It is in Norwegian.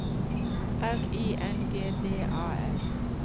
R I N G D A L